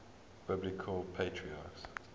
biblical patriarchs